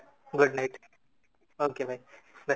good night okay ଭାଇ bye